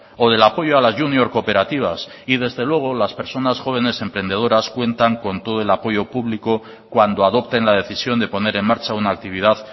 o del apoyo a la junior cooperativas y desde luego las personas jóvenes emprendedoras cuentan con todo el apoyo público cuando adopten la decisión de poner en marcha una actividad